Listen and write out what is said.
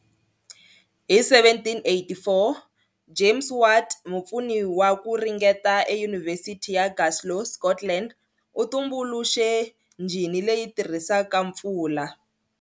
Hi 1784, James Watt, mupfuni wa ku ringeta eYunivhesiti ya Glasgow, Scotland, u tumbuluxe njhini leyi tirhisaka mpfula.